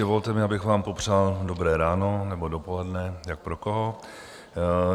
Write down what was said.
Dovolte mi, abych vám popřál dobré ráno nebo dopoledne, jak pro koho.